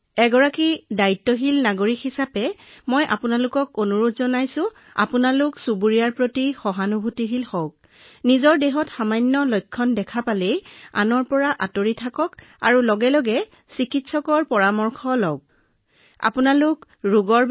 এজন দায়িত্বশীল নাগৰিক হিচাপে মই সঁচাকৈয়ে কব বিচাৰো যে অনুগ্ৰহ কৰি আপোনাৰ চুবুৰীয়াসকলৰ প্ৰতি নম্ৰ হওক আৰু আগতীয়া পৰীক্ষা আৰু সঠিক ট্ৰেকিঙে আমাক মৃত্যুৰ হাৰ হ্ৰাস কৰাত সহায় কৰে আৰু তাৰোপৰি অনুগ্ৰহ কৰি যদি আপুনি কোনো লক্ষণ দেখা পাইছে তেন্তে নিজকে আচুতীয়াকৈ ৰাখক আৰু ওচৰৰ চিকিৎসকৰ পৰামৰ্শ লওক তথা যিমান সম্ভৱ সিমান সোনকালে চিকিৎসা কৰাওক